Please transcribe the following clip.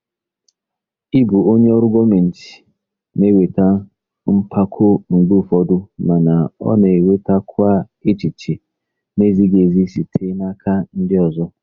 Ịbụ onye ọrụ gọọmentị na-eweta mpako mgbe ụfọdụ, mana ọ na-ewetakwa echiche na-ezighị ezi site n'aka ndị ọzọ.